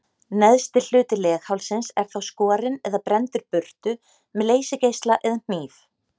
Neðsti hluti leghálsins er þá skorinn eða brenndur burtu með leysigeisla eða hníf.